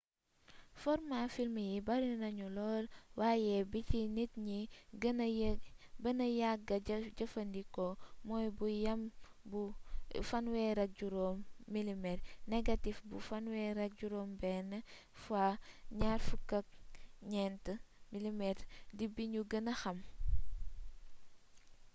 formaa film yi bari nañu lool waaye bi ci nit ñi gëna yàgga jëfandikoo mooy bu yam bu 35 mm négatif bu 36 x 24 mm di bi ñu gëna xam